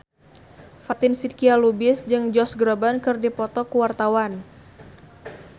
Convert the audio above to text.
Fatin Shidqia Lubis jeung Josh Groban keur dipoto ku wartawan